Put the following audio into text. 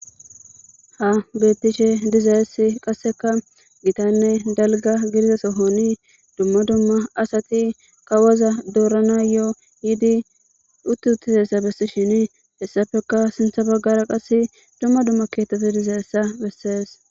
ha bettishe dizayess qasseka gitanne dalga gidiza sohoni dumma dumma asati kawaza doorana yo7o yidi utti uttisessa bessishin hessafeka sintha baggara qasse dumma dumma keetteti dizayessa bessees